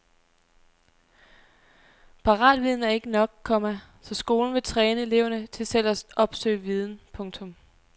Paratviden er ikke nok, komma så skolen vil træne eleverne til selv at opsøge viden. punktum